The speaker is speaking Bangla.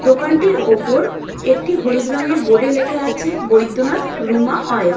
দোকানটির ওপর একটি হলুদ রঙের বোর্ড এ লেখা আছে বৈদ্যনাথ রুমা অয়েল ।